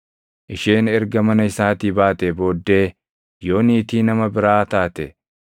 Isheen erga mana isaatii baatee booddee yoo niitii nama biraa taate,